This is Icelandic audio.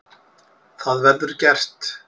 Það verður gert.